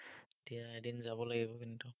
এতিয়া, এদিন যাব লাগিব, কিন্তু।